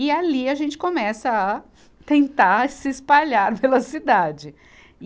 E ali a gente começa a tentar se espalhar pela cidade. e